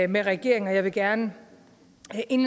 med regeringen og jeg vil gerne